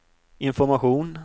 information